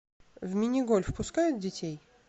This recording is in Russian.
в мини гольф пускают детей